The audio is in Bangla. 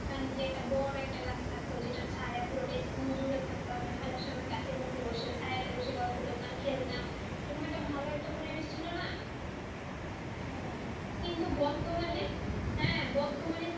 ওখান থেকে একটা বড়ো গাছ থাকতো সেটা ছায়া পুরোটা school জুড়ে থাক তাম আমরা খালার সুমায় গাছে নিচে বসে ছায়াতে বসে গল্প করতাম খেলতাম তখন একটা ভালো একটা পরিবেশ ছিলোনা হ্যাঁ হ্যাঁ বর্তমানে হাঁ বর্তমানে